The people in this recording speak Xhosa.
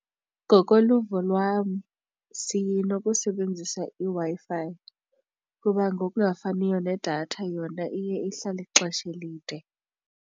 Ngokoluvo lwam sinokusebenzisa iWi-Fi kuba ngokungafaniyo nedatha yona iye ihlale ixesha elide.